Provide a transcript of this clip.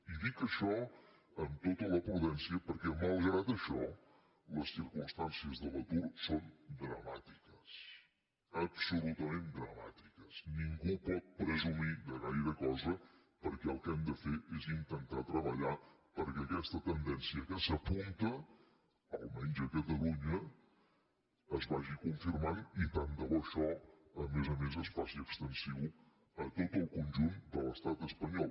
i dic això amb tota la prudència perquè malgrat això les circumstàncies de l’atur són dramàtiques absolutament dramàtiques ningú pot presumir de gaire cosa perquè el que hem de fer és intentar treballar perquè aquesta tendència que s’apunta almenys a catalunya es vagi confirmant i tant de bo això a més a més es faci extensiu a tot el conjunt de l’estat espanyol